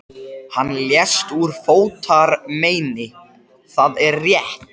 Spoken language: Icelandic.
Háskólans og misjafnlega langt komnir í námi.